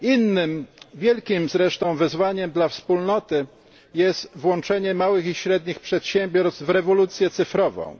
Innym wielkim zresztą wyzwaniem dla Wspólnoty jest włączenie małych i średnich przedsiębiorstw w rewolucję cyfrową,